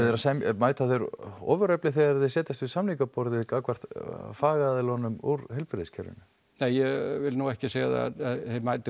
mæta þeir ofurefli þegar þeir setjast við samningaborðið gagnvart fagaðilunum úr heilbrigðiskerfinu nei ég vil nú ekki segja að þeir mæti